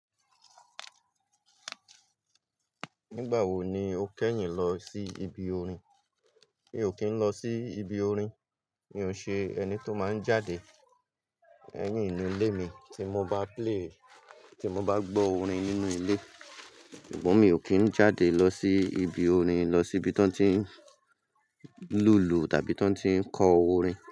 Nígbà wo ni o kẹ́yìn lọ sí ibi orin? Mi ò kí ń lọ sí ibi orin, mi ò ṣe ẹni tó máa ń jáde, lẹyin inú ilé mi tí mo bá play, tí mo bá gbọ́ orin nínú ilé. Ṣùgbọ́n mi ò kí ń jáde lọ sí ibi orin, lọ sí ibi tí wọ́n ti ń lùlù tàbí tí wọ́n ti ń kọ orin.